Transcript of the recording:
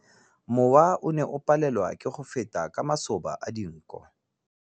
Mowa o ne o palelwa ke go feta ka masoba a dinko.